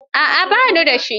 A'a ba ni da shi.